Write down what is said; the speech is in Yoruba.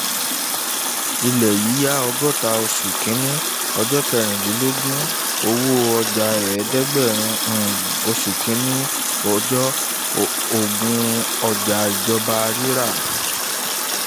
ilé yíyá ọgọ́ta oṣù kìíní ọjọ́ kejìdínlógún owó ọjà eedegberin um oṣù kìíní ọjọ́ ogún ọjà ìjọba rírà